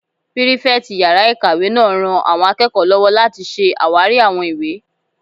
Pírífẹ̀tì yàrá-ìkàwé náà ran àwọn akẹ́kọ̀ọ́ lọ́wọ́ láti ṣe àwárí àwọn ìwé